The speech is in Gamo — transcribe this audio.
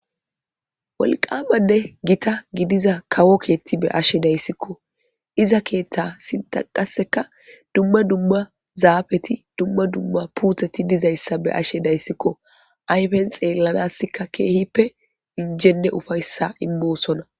wolqamanne gita gidiza kawo keethti be ashe dayssikko iza keeththa sinta qaseka dumma dumma zaafeti dumma dumma puutheti dizayssa be ashe dayssikko ayfen xeellanassikka keehippe injenne ufayssan boosonna